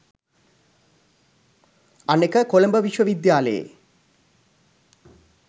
අනෙක කොළඹ විශ්ව විද්‍යාලයේ